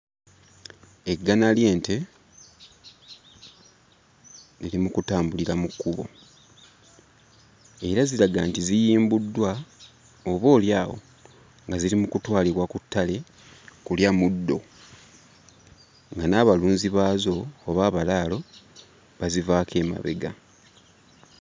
Eggana ly'ente liri mu kutambulira mu kkubo era ziraga nti ziyimbuddwa oboolyawo nga ziri mu kutwalibwa ku ttale kulya muddo nga n'abalunzi baazo oba abalaalo bazivaako emabega.